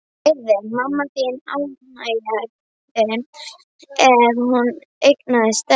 Yrði mamma þín ánægðari ef hún eignaðist stelpu?